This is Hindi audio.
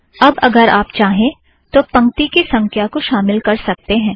अब अगर आप चाहें तो पंक्ति की संख्या को शामिल कर सकते हैं